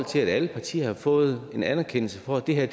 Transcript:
til at alle partier havde fået en anerkendelse for at det her